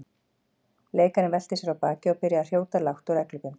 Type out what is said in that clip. Leikarinn velti sér á bakið og byrjaði að hrjóta lágt og reglubundið.